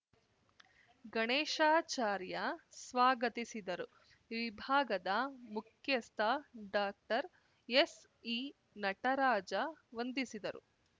ಗಣೇಶಾಚಾರ್ಯ ಸ್ವಾಗತಿಸಿದರು ವಿಭಾಗದ ಮುಖ್ಯಸ್ಥ ಡಾಕ್ಟರ್ ಎಸ್‌ಇ ನಟರಾಜ ವಂದಿಸಿದರು